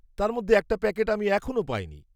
তার মধ্যে একটা প্যাকেট আমি এখনো পাইনি।